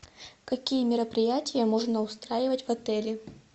какие мероприятия можно устраивать в отеле